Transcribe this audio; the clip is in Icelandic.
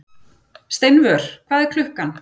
Steinvör, hvað er klukkan?